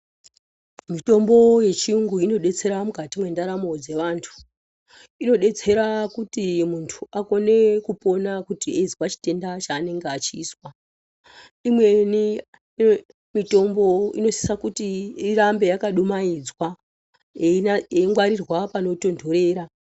Mitombo yechiyungu inodetsera mukati mwendaramo dzavantu, inodetsera kuti muntu akone kupona kuti eizwe chitenda chaanenge echizwa imweni mitombo inosisa kuti irambe yakadumaidzwa yeingwarirwa panotontorera.